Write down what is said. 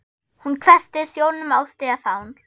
Hún hvessti sjónum á Stefán.